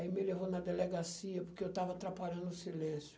Aí me levou na delegacia, porque eu estava atrapalhando o silêncio.